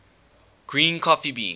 green coffee beans